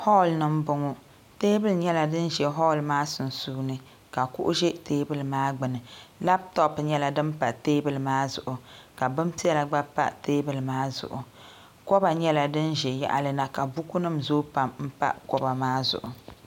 hool ni n bɔŋɔ teebuli nyɛla din ʒɛ hool maa sunsuuni ka kuɣu ʒɛ teebulu maa gbuni labtop nyɛla din pa teebuli maa zuɣu ka bin piɛla gba pa teebuli maa zuɣu koba nyɛla din ʒɛ yaɣali na ka buku nim zooi pam n pa koba maa zuɣu